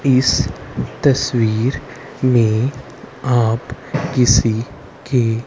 इस तस्वीर में आप किसी के--